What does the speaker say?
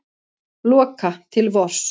Loka til vors